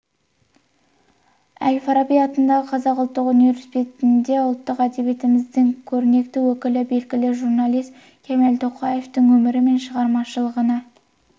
әл-фараби атындағы қазақ ұлттық университетінде ұлттық әдебиетіміздің көрнекті өкілі белгілі журналист кемел тоқаевтың өмірі мен шығармашылығына